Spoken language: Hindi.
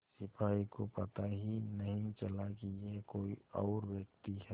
सिपाही को पता ही नहीं चला कि यह कोई और व्यक्ति है